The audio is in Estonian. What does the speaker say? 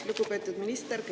Lugupeetud minister!